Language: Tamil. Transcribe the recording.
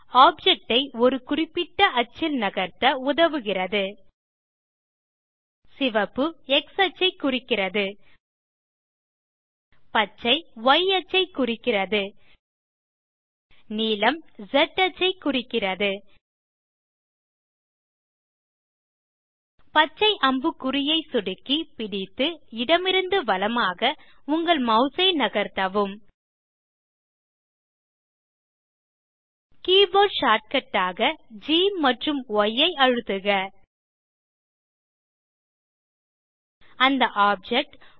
ஆப்ஜெக்ட் ஐ ஒரு குறிப்பிட்ட அச்சில் நகர்த்த உதவுகிறது சிவப்பு எக்ஸ் அச்சைக் குறிக்கிறது பச்சை ய் அச்சைக் குறிக்கிறது நீலம் ஸ் அச்சைக் குறிக்கிறது பச்சை அம்புக்குறியை சொடுக்கி பிடித்து இடமிருந்து வலமாக உங்கள் மாஸ் ஐ நகர்த்தவும் கீபோர்ட் ஷார்ட்கட் ஆக கேம்பி ஐ அழுத்துக அந்த ஆப்ஜெக்ட்